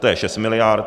To je 6 miliard.